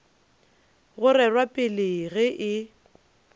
go rerwa pele ge e